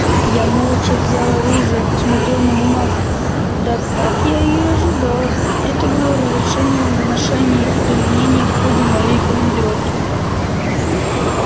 я молча взял оружие посмотрел на бумагу да как я и ожидал это было разрешение на ношение и применение в ходе моей командировки